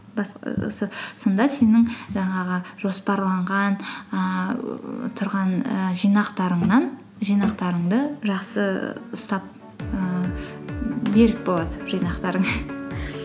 сонда сенің жаңағы жоспарланған ііі тұрған і жинақтарыңды жақсы ұстап ііі берік болады жинақтарың